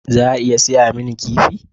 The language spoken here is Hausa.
Za a iya saya mini kifi?